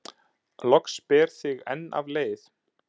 Loks ber þig enn af leið